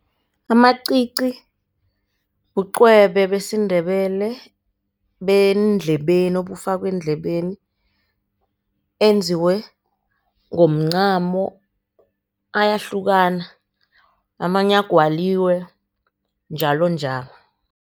Amacici bucwebe besiNdebele bendlebeni obufakwa eendlebeni, enziwe ngomncamo. Ayahlukana amanye agwaliwe njalonjalo.